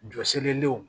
Jɔsilenw